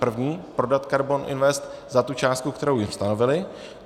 První - prodat KARBON INVEST za tu částku, kterou jim stanovili.